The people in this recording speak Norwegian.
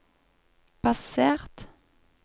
basert